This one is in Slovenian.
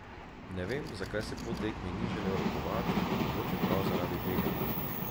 Ne vem, zakaj se po tekmi ni želel rokovati, mogoče prav zaradi tega.